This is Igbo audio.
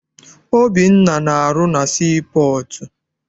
Obinna na-arụ na sii pọọtụ.